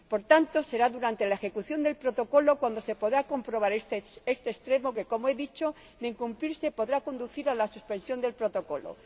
Por tanto, será durante la ejecución del Protocolo cuando se podrá comprobar este extremo, que como he dicho de incumplirse podrá conducir a la suspensión del Protocolo.